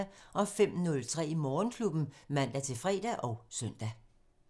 05:03: Morgenklubben (man-fre og søn)